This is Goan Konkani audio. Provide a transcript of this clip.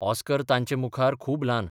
ऑस्कर तांचे मुखार खूब ल्हान.